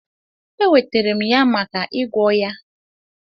Eweterem ya maka igwọ ya.